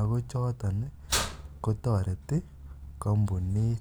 akochotoni kotoreti kompunit